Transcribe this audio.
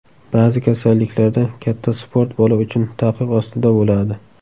Ba’zi kasalliklarda katta sport bola uchun taqiq ostida bo‘ladi.